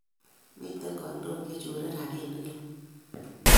Miten kandoik che chore rapinik kila